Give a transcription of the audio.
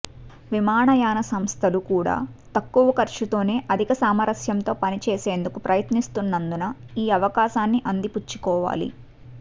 విమానయాన సంస్థలు కూడా తక్కువ ఖర్చుతోనే అధిక సామర్యంతో పనిచేసేందుకు ప్రయత్నిస్తున్నందున ఈ అవకాశాన్ని అందిపుచ్చుకోవాలి